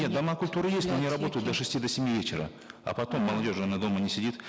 нет дома культуры есть но они работают до шести до семи вечера а потом молодежь она дома не сидит